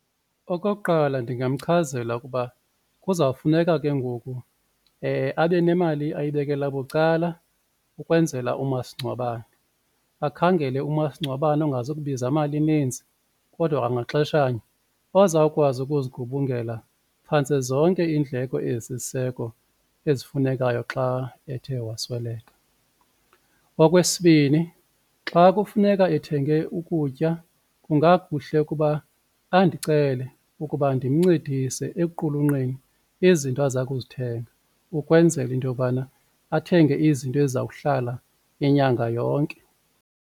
Okokuqala, ndingamchazela ukuba kuzawufuneka ke ngoku abe nemali ayibekela bucala ukwenzela umasingcwabane. Akhangele umasingcwabane ongazukubiza mali ininzi kodwa kwangaxeshanye ozawukwazi ukuzigubungela phantse zonke iindleko ezisisiseko ezifunekayo xa ethe wasweleka. Okwesibini, xa kufuneka ethenge ukutya kungakuhle ukuba andicele ukuba ndimncedise ekuqulunqeni izinto aza kuzithenga ukwenzela into yobana athenge izinto ezizawuhlala inyanga yonke.